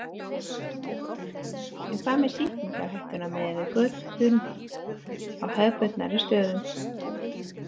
En hvað með sýkingarhættu miðað við götun á hefðbundnari stöðum?